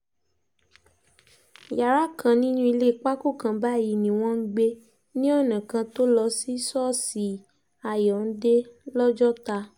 yàrá kan nínú ilé pákó kan báyìí ni wọ́n ń gbé ní ọ̀nà kan tó lọ sí ṣọ́ọ̀ṣì àyọ́ǹde lọ́jọ́ta